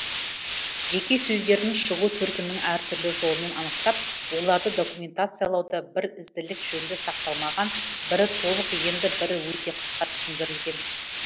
жеке сөздердің шығу төркінің әртүрлі жолмен анықтап оларды документациялауда бір ізділік жөнді сақталмаған бірі толық енді бірі өте қысқа түсіндірілген